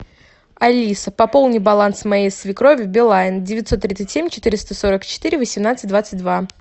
алиса пополни баланс моей свекрови билайн девятьсот тридцать семь четыреста сорок четыре восемнадцать двадцать два